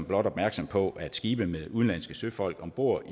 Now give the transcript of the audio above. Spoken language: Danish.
blot opmærksom på at skibe med udenlandske søfolk om bord